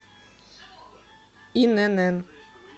инн